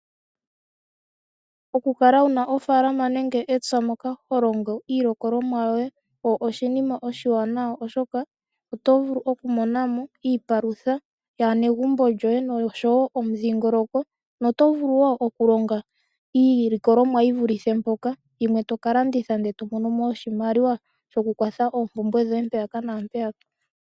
Okukala wuna ofaalama nenge epya moka holongo iilikolomwa yoye oshinima oshiwaanawa oshoka otovulu okumona mo iipalutha yaanegumbo lyoye oshowo omudhiingoloko, noto vulu woo okulonga iilikolomwa yi vulithe mpoka, yimwe toka landitha ndele tomono mo oshimaliwa shokukwatha oompumbwe dhoye mpeyaka naampeyaka.